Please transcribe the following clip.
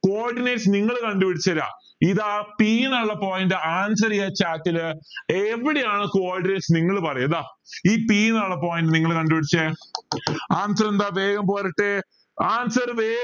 coordinate നിങ്ങൾ കണ്ടുപിടിചെര ഇതാ p ന്നുള്ള point answer ചെയ chat ൽ എവിടെയാണ് coordinates നിങ്ങൾ പറയാ ഇതാ ഈ p ന്നുള്ള point നിങ്ങൾ കണ്ടുപിടിച്ചെ answer എന്താ വേഗം പോരട്ടെ answer വേ